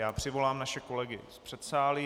Já přivolám naše kolegy z předsálí.